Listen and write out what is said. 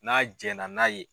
N'a jɛn na n'a ye.